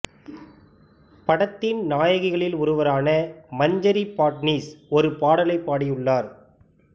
படத்தின் நாயகிகளில் ஒருவரான மஞ்சரி பாட்னிஸ் ஒரு பாடலைப் பாடியுள்ளார்